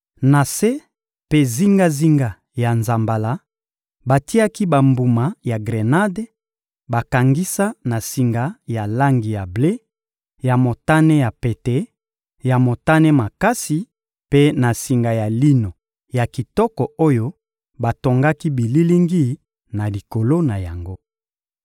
Na se mpe zingazinga ya nzambala, batiaki bambuma ya grenade bakangisa na singa ya langi ya ble, ya motane ya pete, ya motane makasi mpe na singa ya lino ya kitoko oyo batongaki bililingi na likolo na yango.